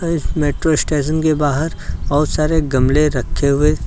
अ इस metro station के बाहर सारे गमले रखे हुए --